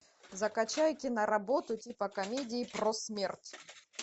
закачай киноработу типа комедии про смерть